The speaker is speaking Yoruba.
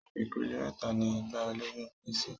Ipele méta ni ìgbà ìlóyún pín sí